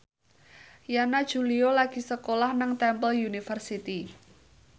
Yana Julio lagi sekolah nang Temple University